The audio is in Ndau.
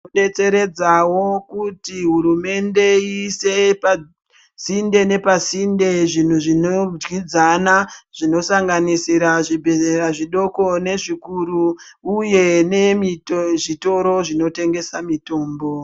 Kudetseredzao kuti hurumende iise pasinte nepasinte zvinhu zvinodyidzana zvinosanganisira zvibhedhlera zvidoko nezvikuru uye nezvitoro zvinotengesa mitombo.